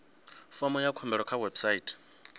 fomo ya khumbelo kha website